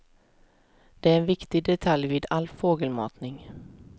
Det är en viktig detalj vid all fågelmatning.